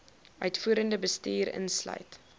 uitvoerende bestuur insluit